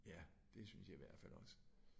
Ja. Det synes jeg i hvert fald også